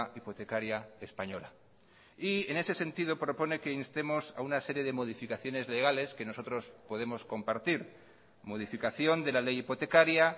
hipotecaria española y en ese sentido propone que instemos a una serie de modificaciones legales que nosotros podemos compartir modificación de la ley hipotecaria